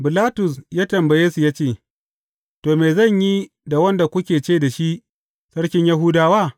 Bilatus ya tambaye su ya ce, To, me zan yi da wanda kuke ce da shi, sarkin Yahudawa?